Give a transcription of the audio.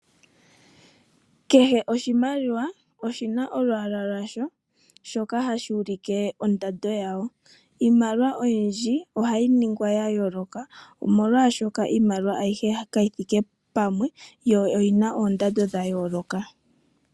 Kehe oshimaliwa oshi na olwaala lwasho, shoka hashi ulike ondando yasho. Iimaliwa oyindji ohayi ningwa ya yooloka, molwaashoka kayi thike pamwe yo oyi na oondando dha yoolokathana.